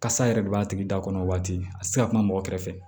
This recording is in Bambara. Kasa yɛrɛ de b'a tigi da kɔnɔ waati a ti se ka kuma mɔgɔ kɛrɛfɛ